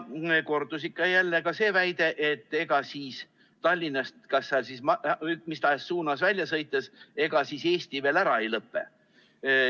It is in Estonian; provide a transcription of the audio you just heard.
Kordus ikka ja jälle ka see väide, et ega siis Tallinnast mis tahes suunas välja sõites Eesti veel ära ei lõpe.